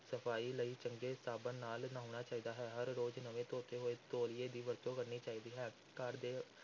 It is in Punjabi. ਸਫ਼ਾਈ ਲਈ ਚੰਗੇ ਸਾਬਣ ਨਾਲ ਨਹਾਉਣਾ ਚਾਹੀਦਾ ਹੈ, ਹਰ ਰੋਜ਼ ਨਵੇਂ ਧੋਤੇ ਹੋਏ ਤੌਲੀਏ ਦੀ ਵਰਤੋਂ ਕਰਨੀ ਚਾਹੀਦੀ ਹੈ, ਘਰ ਦੇ